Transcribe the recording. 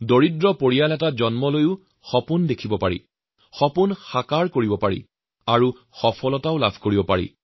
এটি দুখীয়া পৰিয়ালত জন্মগ্ৰহণ কৰিও যে নিজৰ সপোনক বাস্তৱ কৰিব পৰা যায় তাৰ উদাহৰণো তেওঁ নিজেই